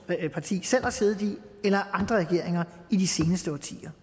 parti selv har siddet i eller af andre regeringer i de seneste årtier